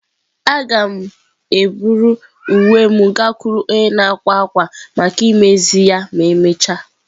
Aga m eburu uwe m gakwuru onye na-akwa akwa maka imezi ya ma emechaa.